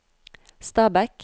Stabekk